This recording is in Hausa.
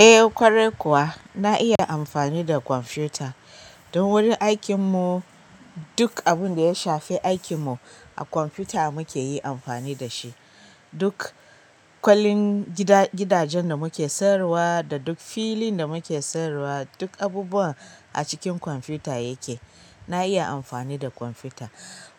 Eh ƙwarai kuwa na iya amfani da kwamfuta. Don wurin aikin mu duk abunda ya shafi aikin mu a kwamfuta muke yin amfani da shi. Duk kwalin gidajen da muke sayarwa da duk filin da muke sayarwa duk abubuwa a cikin kwamfuta ya ke. Na iya amfani da kwamfuta.